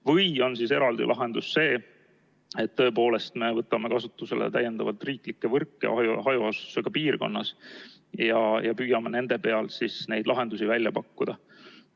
Või on siis eraldi lahendus see, et me võtame kasutusele täiendavalt riiklikke võrke hajaasustusega piirkonnas ja püüame nende peal neid lahendusi välja pakkuda.